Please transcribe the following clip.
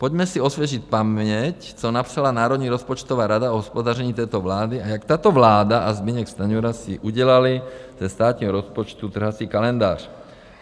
Pojďme si osvěžit paměť, co napsala Národní rozpočtová rada o hospodaření této vlády a jak tato vláda a Zbyněk Stanjura si udělali ze státního rozpočtu trhací kalendář.